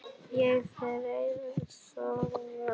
Og þeir sóttu mig.